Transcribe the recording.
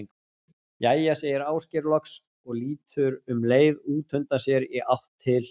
Jæja segir Ásgeir loks og lítur um leið út undan sér í átt til